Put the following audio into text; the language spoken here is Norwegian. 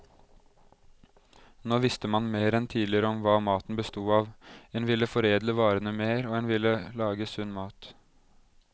Nå visste man mer enn tidligere om hva maten bestod av, en ville foredle varene mer, og en ville lage sunn mat.